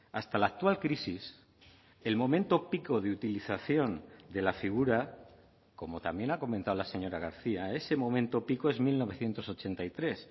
hasta la actual crisis el momento pico de utilización de la figura como también ha comentado la señora garcía ese momento pico es mil novecientos ochenta y tres